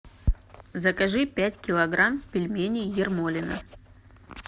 закажи пять килограмм пельменей ермолино